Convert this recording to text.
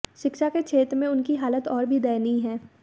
शिक्षा के क्षेत्र में उनकी हालत और भी दयनीय है